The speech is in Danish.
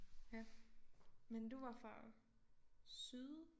Ja men du var fra syd